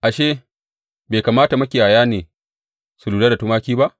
Ashe, bai kamata makiyaya ne su lura da tumaki ba?